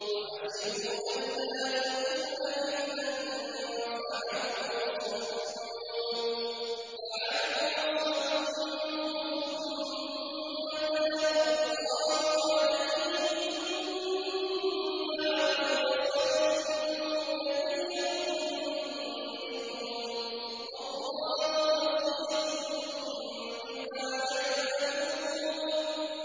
وَحَسِبُوا أَلَّا تَكُونَ فِتْنَةٌ فَعَمُوا وَصَمُّوا ثُمَّ تَابَ اللَّهُ عَلَيْهِمْ ثُمَّ عَمُوا وَصَمُّوا كَثِيرٌ مِّنْهُمْ ۚ وَاللَّهُ بَصِيرٌ بِمَا يَعْمَلُونَ